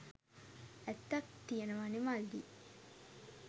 ඇත්තක් තියනවනෙ මල්ලි.